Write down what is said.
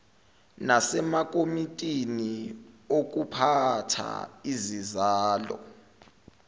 nasemakomitini okuphatha izizalo